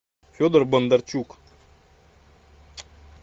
федор бондарчук